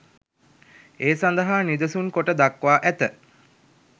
ඒ සඳහා නිදසුන් කොට දක්වා ඇත.